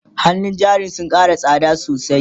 hannun jarin sun Kara tsakmda sosai